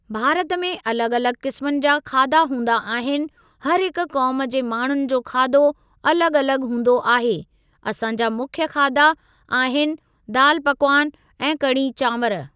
भारत में अलॻि अलॻि क़िस्मनि जा खाधा हूंदा आहिनि हर हिक क़ौम जे माण्हुनि जो खाधो अलॻि अलॻि हूंदो आहे, असां जा मुख्य खाधा आहिनि दाल पकवान ऐं कड़ी चांवर।